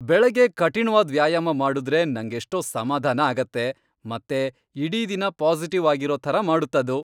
ಬೆಳಗ್ಗೆ ಕಠಿಣ್ವಾದ್ ವ್ಯಾಯಾಮ ಮಾಡುದ್ರೆ ನಂಗೆಷ್ಟೋ ಸಮಾಧಾನ ಆಗತ್ತೆ ಮತ್ತೆ ಇಡೀ ದಿನ ಪಾಸಿಟಿವ್ ಆಗಿರೋ ಥರ ಮಾಡತ್ತದು.